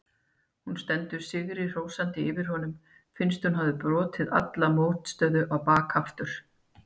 Hún stendur sigri hrósandi yfir honum, finnst hún hafa brotið alla mótstöðu á bak aftur.